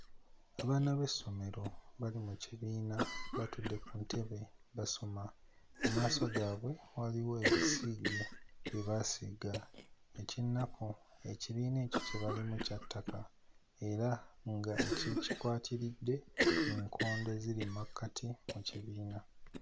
Abaana b'essomero bali mu kibiina batudde ku ntebe basoma. Mu maaso gaabwe waliwo ebisiige bye baasiiga. Eky'ennaku ekibiina kye balimu ekyo kya ttaka era nga ekikikwatiridde nkondo eziri mmakkati mu kibiina.